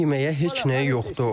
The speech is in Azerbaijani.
Uşaqlarımın yeməyə heç nəyi yoxdur.